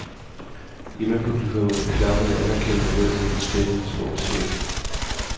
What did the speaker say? Hjemmepublikummet klappede anerkendende ned til den spillende sportschef.